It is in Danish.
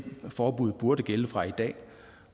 forbud burde gælde fra i dag